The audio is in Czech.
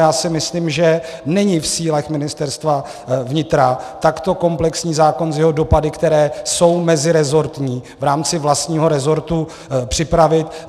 Já si myslím, že není v silách Ministerstva vnitra takto komplexní zákon s jeho dopady, které jsou mezirezortní, v rámci vlastního rezortu připravit.